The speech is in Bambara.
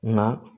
Nka